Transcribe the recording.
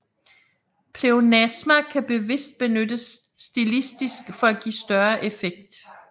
Pleonasmer kan bevidst benyttes stilistisk for at give større effekt